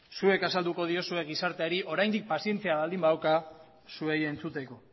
zuek azalduko diozue gizarteari oraindik pazientzia baldin badauka zuei entzuteko